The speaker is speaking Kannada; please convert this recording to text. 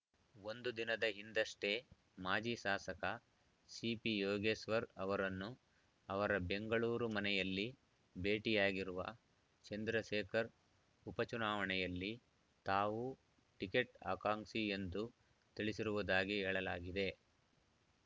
ಒಂದು ದಿನದ ಹಿಂದಷ್ಟೇ ಮಾಜಿ ಶಾಸಕ ಸಿಪಿಯೋಗೇಶ್ವರ್‌ ಅವರನ್ನು ಅವರ ಬೆಂಗಳೂರು ಮನೆಯಲ್ಲಿ ಭೇಟಿಯಾಗಿರುವ ಚಂದ್ರಶೇಖರ್‌ ಉಪಚುನಾವಣೆಯಲ್ಲಿ ತಾವೂ ಟಿಕೆಟ್‌ ಆಕಾಂಕ್ಷಿ ಎಂದು ತಿಳಿಸಿರುವುದಾಗಿ ಹೇಳಲಾಗಿದೆ